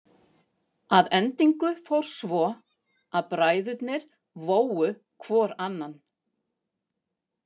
Að endingu fór svo að bræðurnir vógu hvor annan.